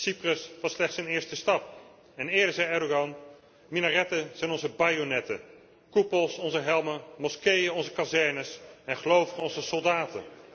Cyprus was slechts een eerste stap en eerder zei Erdoğan minaretten zijn onze bajonetten, koepels onze helmen, moskeeën onze kazernes en gelovigen onze soldaten.